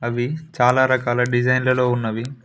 అవి చాలా రకాల డిజైన్ లలో ఉన్నది.